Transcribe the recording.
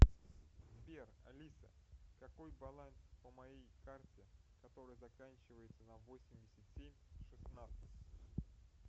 сбер алиса какой баланс по моей карте которая заканчивается на восемьдесят семь шестнадцать